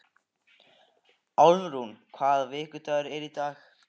Álfrún, hvaða vikudagur er í dag?